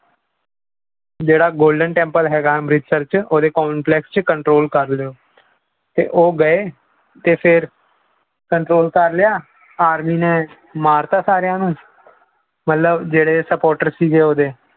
ਜਿਹੜਾ golden temple ਹੈਗਾ ਅੰਮ੍ਰਿਤਸਰ 'ਚ ਉਹਦੇ control ਕਰ ਲਇਓ ਤੇ ਉਹ ਗਏ ਤੇ ਫਿਰ control ਕਰ ਲਿਆ, ਆਰਮੀ ਨੇ ਮਾਰਤਾ ਸਾਰਿਆਂ ਨੂੰ ਮਤਲਬ ਜਿਹੜੇ supporter ਸੀਗੇ ਉਹਦੇ